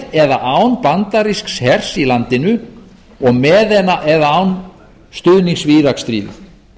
með eða án bandarísks hers í landinu og með eða án stuðnings við íraksstríðið